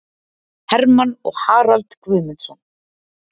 Hermann og Harald Guðmundsson